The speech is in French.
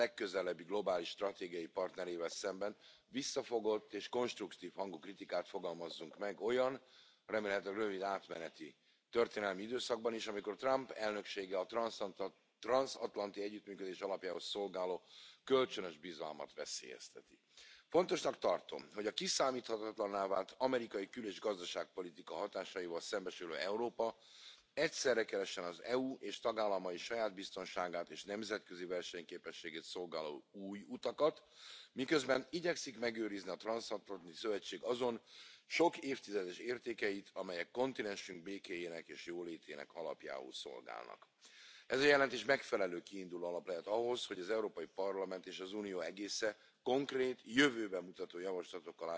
dans les affaires intérieures des États Unis. Le véritable problème est de savoir si nous ne sommes pas insensiblement passés du statut d'alliés au statut de vassaux. Et nous devons exiger la réciprocité et ne nous intéresser qu'aux questions internationales. Il faut donc saisir l'occasion de la présidence Trump pour nous affranchir de l'OTAN, dont l'existence ne se justifie plus depuis que l'Union soviétique a disparu et n'est plus une menace contre nous. Il faut nous élever contre les spoliations incroyables auxquelles l'administration ou l'appareil judiciaire américains ont procédés contre nos banques, contre nos intérêts, et il faut nous élever contre la prétention insupportable des États Unis à imposer l'universalité de leurs sanctions au détriment de nos entreprises. Tout le reste